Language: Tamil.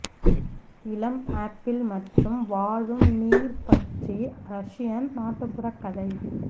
இளம் ஆப்பிள் மற்றும் வாழும் நீர் பற்றி ரஷியன் நாட்டுப்புற கதை